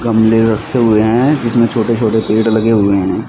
गमले रखे हुए हैं जिसमें छोटे छोटे पेड़ लगे हुए हैं।